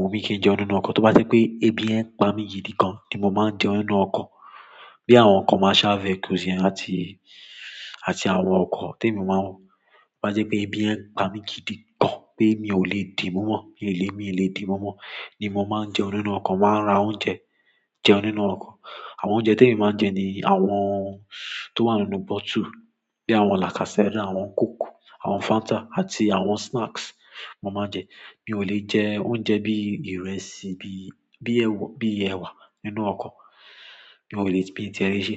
wù mí kí n jẹun nínú ọkọ̀. Tó bá jẹ́ pé ebi yẹ̀n ń pa mi gidi gan ni mo máa ń jẹun nínú ọkọ̀. Bí àwọn commercial vehicles àti àwọn ọkọ̀ tí èmi máa ń wọ. Tó bá jẹ́ pé ebi yẹ̀n ń pa mi gidi gan, pé mi ò lè dì mo mọ́, mi ò lè dì mo mọ́, ni mo máa ń jẹun nínú ọkọ̀, máa ra oúnjẹ jẹ nínú ọkọ̀. Àwọn oúnjẹ tí èmi máa ń jẹ ni àwọn tó wà nínú bottle, bíi àwọn Lacasera, àwọn Coke, àwọn Fanta àti àwọn snacks mo máa ń jẹ. Mi ò lè jẹ oúnjẹ bí i ìrẹsì, bí i ẹwà nínú ọkọ̀. Mi ò lè ṣẹ́. Mi i ti e le ṣe.